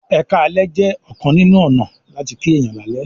"eka lẹ" jẹ ọkan nínú ọnà lati kí èyán lalẹ